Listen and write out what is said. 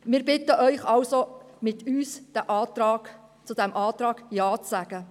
Wir bitten Sie, gemeinsam mit uns Ja zu diesem Antrag zu sagen.